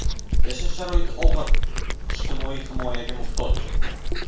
Yashash sharoiti og‘ir, ijtimoiy himoyaga muhtoj.